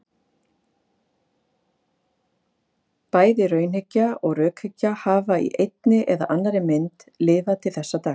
Bæði raunhyggja og rökhyggja hafa í einni eða annarri mynd lifað til þessa dags.